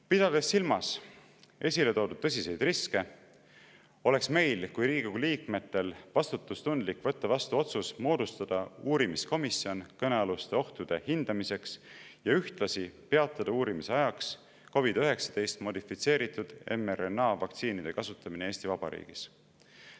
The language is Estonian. Pidades silmas esile toodud tõsiseid riske, oleks meil kui Riigikogu liikmetel vastutustundlik võtta vastu otsus moodustada uurimiskomisjon kõnealuste ohtude hindamiseks ja ühtlasi peatada uurimise ajaks COVID-19 modifitseeritud mRNA vaktsiinide kasutamine Eesti Vabariigis.